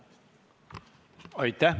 Aitäh!